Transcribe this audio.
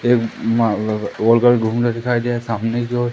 एक वर्कर घूम रहा दिखाई दे रहा सामने की ओर।